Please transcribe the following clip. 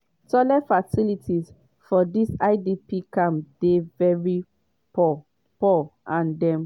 toilet facilities for dis idp camps dey very poor poor and dem